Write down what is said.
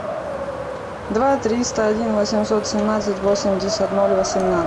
два триста один восемьсот семнадцать восемьдесят ноль восемнадцать